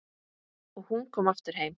Og hún komin aftur heim.